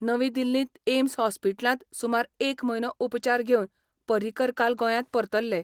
नवी दिल्लींत एम्स हॉस्पिट्लांत सुमार एक म्हयनो उपचार घेवन पर्रिकर काल गोंयात परतल्ले.